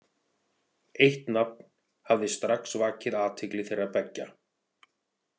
Eitt nafn hafði strax vakið athygli þeirra beggja.